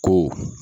Ko